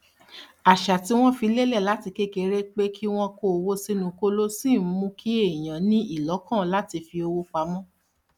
àṣà tí wọn fi lélẹ láti kékeré pé kí wọn kó owó sínú kóló ṣì ń mú kí èèyàn ní ìlọkàn láti fi owó pamọ́